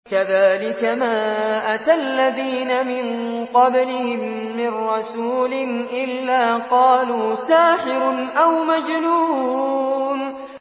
كَذَٰلِكَ مَا أَتَى الَّذِينَ مِن قَبْلِهِم مِّن رَّسُولٍ إِلَّا قَالُوا سَاحِرٌ أَوْ مَجْنُونٌ